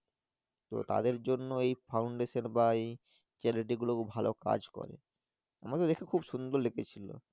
তো তাদের জন্য Foundation বা এই Charity গুলো ভালো কাজ করে আমাকে দেখে খুব সুন্দর লেগেছিল।